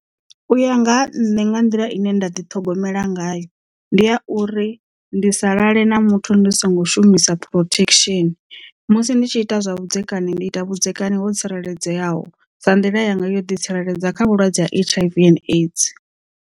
U ya nga ha nṋe nga nḓila ine nda ḓi ṱhogomela ngayo ndi a uri ndi sa lale na muthu ndi songo shumisa protection musi ndi tshi ita zwa vhudzekani ndi ita vhudzekani ho tsireledzeaho sa nḓila yanga yo ḓi tsireledza kha vhulwadze ha H_I_V and AIDS.